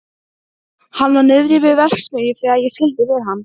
Hann var niðri við verksmiðju þegar ég skildi við hann.